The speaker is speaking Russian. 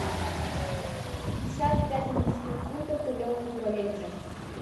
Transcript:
пятьдесят пять английских фунтов в рублевом эквиваленте